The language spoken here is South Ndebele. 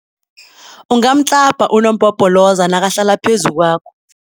Ungamtlabha unompopoloza nakahlala phezu kwakho.